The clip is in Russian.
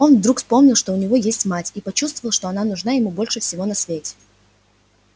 он вдруг вспомнил что у него есть мать и почувствовал что она нужна ему больше всего на свете